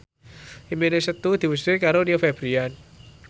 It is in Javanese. impine Setu diwujudke karo Rio Febrian